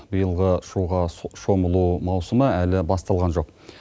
биылғы суға шомылу маусымы әлі басталған жоқ